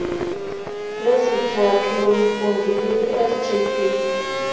lesithathu lomfundi likwisgb